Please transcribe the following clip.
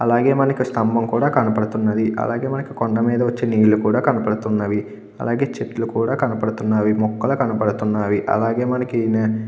అలాగే మనకి స్తంభం కూడా కనబడుతున్నది అలాగే మనకి కొండ మీద వచ్చే నీళ్లు కూడా కనపడుతున్నవి అలాగే చెట్లు కూడా కనపడుతున్నవి మొక్కలు కనపడుతున్నవి అలాగే మనకి --